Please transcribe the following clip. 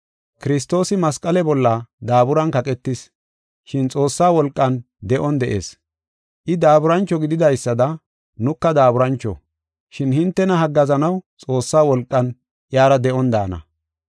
Kiristoosi masqale bolla daaburan kaqetis, shin Xoossa wolqan de7on de7ees. I daaburancho gididaysada, nuka daaburancho. Shin hintena haggaazanaw Xoossaa wolqan iyara de7on daana.